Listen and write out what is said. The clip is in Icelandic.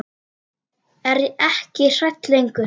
Er ekki hrædd lengur.